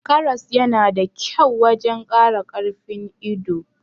Karas yana da kyau wajan Kara karfin ido